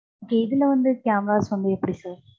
இதுல வந்து, cameras வந்து, எப்படி sir